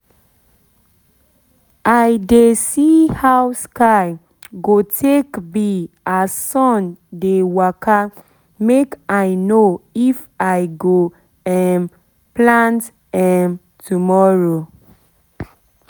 i dey see how sky go take be as sun dey waka make i know if i go um plant um tomorrow